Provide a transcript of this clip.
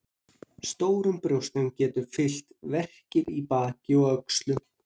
Stórum brjóstum geta fylgt verkir í baki og öxlum.